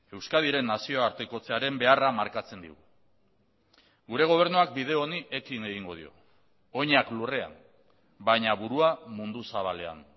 euskadiren nazioartekotzearen beharra markatzen digu gure gobernuak bide honi ekin egingo dio oinak lurrean baina burua mundu zabalean